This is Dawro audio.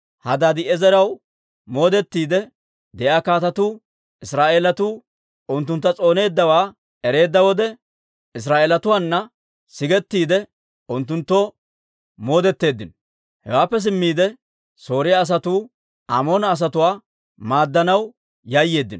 Hadaadi'eezeraw moodettiide de'iyaa kaatetuu Israa'eelatuu unttuntta s'ooneeddawaa ereedda wode, Israa'eelatuwaana sigettiide, unttunttoo moodeteeddino. Hewaappe simmiide, Sooriyaa asatuu Amoona asatuwaa maaddanaw yayyeeddino.